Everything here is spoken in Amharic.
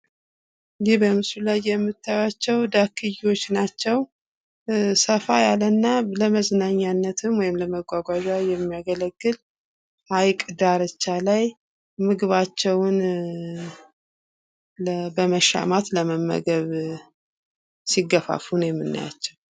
እኒህ በምስሉ ላይ የምታዩአቸው ዳክዬዎች ናቸው ። ሰፋ ያለ እና ለምዝናኛነትም ወይም ለመጓጓዣ የሚያገለግል ሀይቅ ዳርቻ ላይ ምግባቸውን በመሻማት ለመመገብ ሲገፋፉ ነው የምናያቸው።